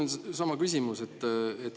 Mul on sama küsimus.